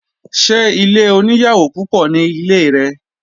Sé ilé oníyàwò púpọ̀ ní ilé rẹ?